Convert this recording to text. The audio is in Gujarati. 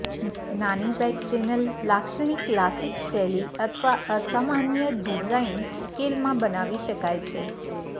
નાની બેગ ચેનલ લાક્ષણિક ક્લાસિક શૈલી અથવા અસામાન્ય ડિઝાઇન ઉકેલમાં બનાવી શકાય છે